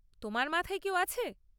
তোমার মাথায় কেউ আছে?